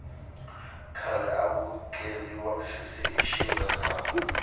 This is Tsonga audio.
khale aku keriwa misisi hi xirhezani